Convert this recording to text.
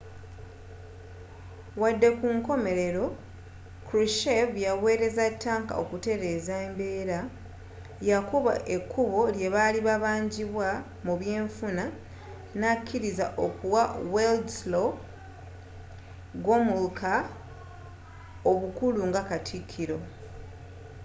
wadde nga kunkomelero krushchev yawereza tanka okutereza embeera yakuba ekubbo ly'ebyalibibanjibwa mubyenfuna nakiriza okuwa wladyslaw gomulka obukulu nga katikiro